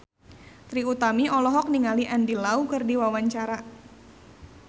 Trie Utami olohok ningali Andy Lau keur diwawancara